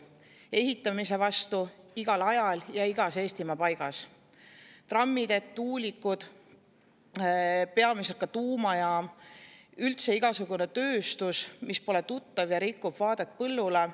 Näiteks ehitamise vastu igal ajal ja igas Eestimaa paigas: trammiteed, tuulikud, peamiselt tuumajaam ja üldse igasugune tööstus, mis pole tuttav ja rikub vaadet põllule.